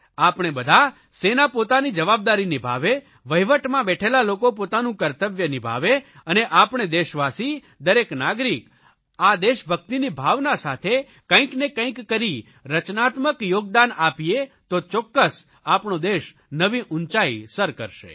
આપણે બધા સેના પોતાની જવાબદારી નિભાવે વહિવટમાં બેઠેલા લોકો પોતાનું કર્તવ્ય નિભાવે અને આપણે દેશવાસી દરેક નાગરિક આ દેશભકિતની ભાવના સાથે કંઇક ને કંઇક કરી રચનાત્મક યોગદાન આપીએ તો ચોક્કસ આપણો દેશ નવી ઊંચાઇ સર કરશે